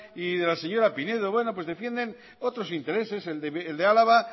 y de la señora pinedo defienden otros intereses el del álava